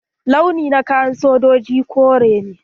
Launi na kayan sojoji kore ne.